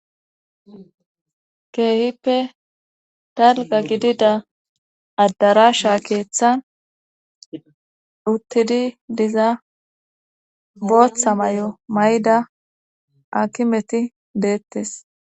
keehippe dalga gidida addarasha keeththan uttidi diza booththa may7o may7ida akimeti deettes